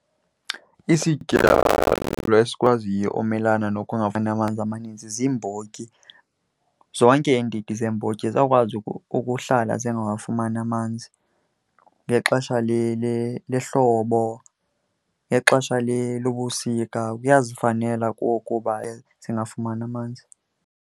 Isityalo esikwaziyo umelana nokungafumani amanzi amaninzi ziimbotyi. Zonke iindidi zeembotyi ziyakwazi ukuhlala zingawafumani amanzi. Ngexesha lehlobo, ngexesha lobusika kuyazifanela kuwo ukuba zingafumani amanzi.